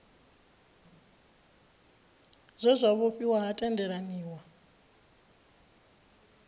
zwe zwa vhofhiwa ha tendelaniwa